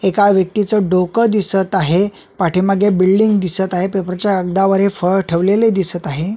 एका व्यक्तीच डोकं दिसत आहे पाठीमागे बिल्डींग दिसत आहे पेपर च्या अड्डावर हे फळ ठेवलेले दिसत आहे.